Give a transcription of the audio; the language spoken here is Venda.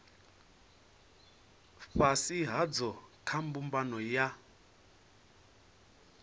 fhasi hadzo kha mbumbano ya